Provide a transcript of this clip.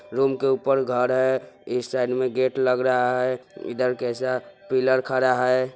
रूम के ऊपर घर है इस साइड में गेट लग रहा है इधर कैसा पिलर खड़ा है।